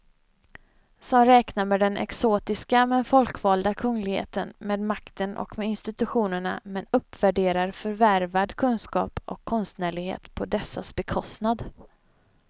Som räknar med den exotiska men folkvalda kungligheten, med makten och med institutionerna men uppvärderar förvärvad kunskap och konstnärlighet på dessas bekostnad.